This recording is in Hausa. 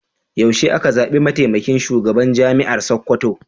Yaushe aka zaɓi mataimakin shugaban Jami'ar Sakkwato?